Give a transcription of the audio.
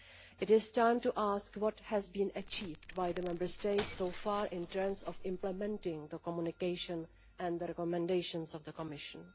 It is time to ask what has been achieved by the Member States so far in terms of implementing the communication and the recommendations of the Commission.